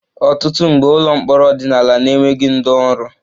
Ọtụtụ mgbe, ụlọ mkpọrọ ọdịnala na-enweghị ndị ọrụ